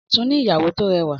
Ọ̀tún ní ìyàwó tó rẹwà.